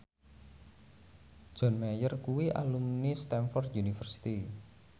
John Mayer kuwi alumni Stamford University